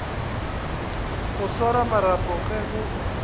go swara marapo ge go